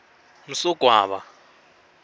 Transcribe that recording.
msogwaba